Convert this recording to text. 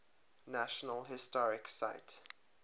national historic site